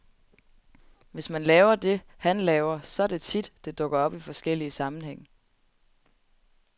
Hvis man laver det, han laver, så er det tit, det dukker op i forskellige sammenhæng.